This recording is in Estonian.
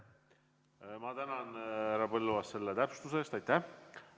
Ma tänan, härra Põlluaas, selle täpsustuse eest!